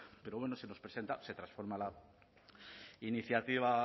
pero bueno se nos presenta se transforma la iniciativa